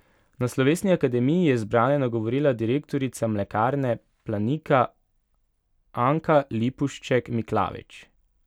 Na slovesni akademiji je zbrane nagovorila direktorica Mlekarne Planika Anka Lipušček Miklavič.